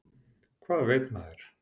Hvað veit maður?